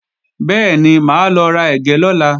Bẹ́ẹ̀ni, máa lọ ra ẹ̀gẹ́ lọ́la